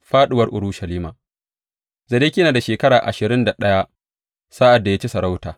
Fāɗuwar Urushalima Zedekiya yana da shekara ashirin da ɗaya sa’ad da ya ci sarauta.